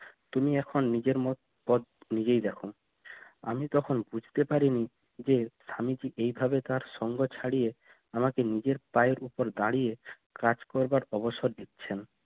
তুমি এখন নিজের নিজেই দেখো আমি তখন বুঝতে পারিনি যে স্বামীজি এভাবে তার সঙ্গ ছাড়িয়ে আমাকে নিজের পায়ের উপর দাঁড়িয়ে কাজ করবার অবসর দিচ্ছেন